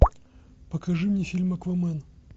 покажи мне фильм аквамен